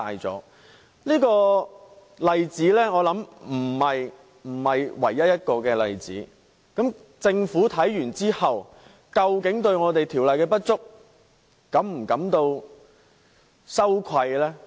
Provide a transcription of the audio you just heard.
我想這不是唯一的例子，政府得悉這個問題後，究竟會否對《條例》的不足感到羞愧呢？